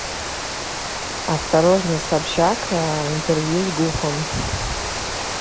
осторожно собчак интервью с гуфом